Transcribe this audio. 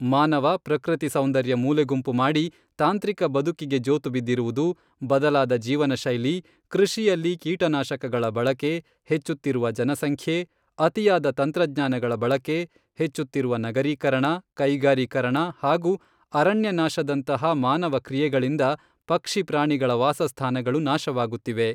ಮಾನವ ಪ್ರಕೃತಿ ಸೌಂದರ್ಯ ಮೂಲೆಗುಂಪು ಮಾಡಿ ತಾಂತ್ರಿಕ ಬದುಕಿಗೆ ಜೋತುಬಿದ್ದಿರುವುದು, ಬದಲಾದ ಜೀವನ ಶೈಲಿ, ಕೃಷಿಯಲ್ಲಿ ಕೀಟನಾಶಕಗಳ ಬಳಕೆ, ಹೆಚ್ಚುತ್ತಿರುವ ಜನಸಂಖ್ಯೆ, ಅತಿಯಾದ ತಂತ್ರಜ್ಞಾನಗಳ ಬಳಕೆ, ಹೆಚ್ಚುತ್ತಿರುವ ನಗರೀಕರಣ, ಕೈಗಾರೀಕರಣ ಹಾಗೂ ಅರಣ್ಯನಾಶದಂತಹ ಮಾನವ ಕ್ರಿಯೆಗಳಿಂದ ಪಕ್ಷಿ ಪ್ರಾಣಿಗಳ ವಾಸಸ್ಥಾನಗಳು ನಾಶವಾಗುತ್ತಿವೆ.